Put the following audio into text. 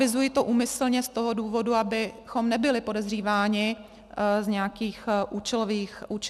Avizuji to úmyslně z toho důvodu, abychom nebyli podezříváni z nějakých účelových změn.